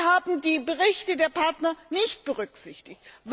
Sie haben die Berichte der Partner nicht berücksichtigt.